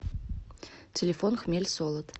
телефон хмельсолод